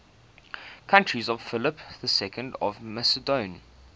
courtiers of philip ii of macedon